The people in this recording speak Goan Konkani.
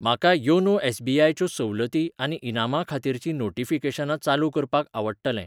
म्हाका योनो एस.बी.आय च्यो सवलती आनी इनामां खातीरचीं नोटीफिकेशनां चालू करपाक आवडटलें.